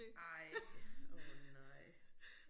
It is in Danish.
Nej åh nej